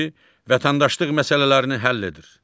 Vətəndaşlıq məsələlərini həll edir.